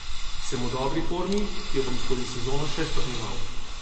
Sem v dobri formi, ki jo bom skozi sezono še stopnjeval.